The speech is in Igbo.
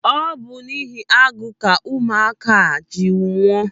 Ọ bụ n'ihi agụụ ka ụmụaka ahụ ji nwụọ.